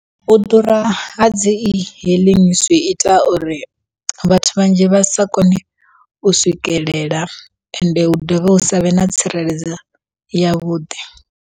U ḓura ha dzi e-hailing zwiita uri, vhathu vhanzhi vha sa kone u swikelela ende hu dovhe hu savhe na tsireledzo yavhuḓi.